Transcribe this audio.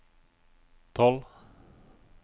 tolv